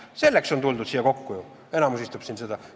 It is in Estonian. Selleks on tuldud siia kokku, enamus istub siin selle pärast.